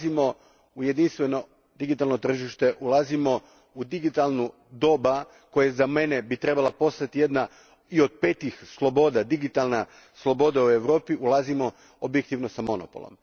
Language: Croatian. Ulazimo u jedinstveno digitalno tržište, ulazimo u digitalno doba, koje bi za mene trebalo postati jedna od petih sloboda, digitalna sloboda u Europi ulazimo objektivno s monopolom.